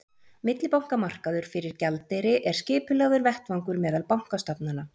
Millibankamarkaður fyrir gjaldeyri er skipulagður vettvangur meðal bankastofnana.